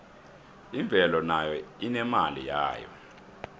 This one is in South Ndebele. imvelo nayo inemali yayo